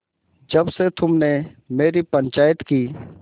जब से तुमने मेरी पंचायत की